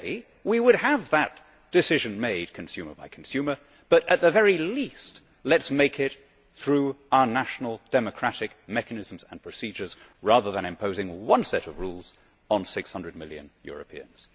Ideally we would have that decision made consumer by consumer, but at the very least let us make it through our national democratic mechanisms and procedures rather than imposing one set of rules on 600 million Europeans.